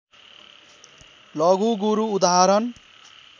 लघु गुरू उदाहरण